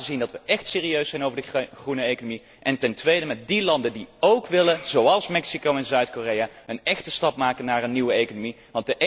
Zelf laten zien dat wij echt serieus zijn over de groene economie en ten tweede met die landen die óók willen, zoals Mexico en Zuid Korea, een echte stap maken naar een nieuwe economie.